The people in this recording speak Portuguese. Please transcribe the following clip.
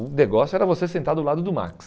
O negócio era você sentar do lado do Max.